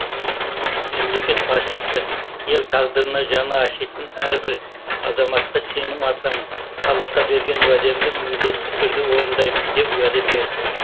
мемлекет башысы ел тағдырына жаны ашитын әрбір азаматқа сенім артамын халыққа берген уәдемді міндетті түрде орындаймын деп уәде берді